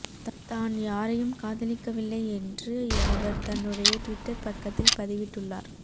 தான் யாரையும் காதலிக்கவில்லை என்றும் அவர் தன்னுடைய ட்விட்டர் பக்கத்தில் பதிவிட்டுள்ளார்